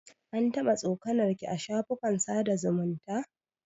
An taɓa tsokanar ki a shafukan sada zumunta?